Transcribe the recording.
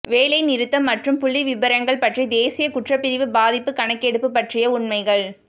வேலைநிறுத்தம் மற்றும் புள்ளிவிபரங்கள் பற்றி தேசிய குற்றப்பிரிவு பாதிப்பு கணக்கெடுப்பு பற்றிய உண்மைகள்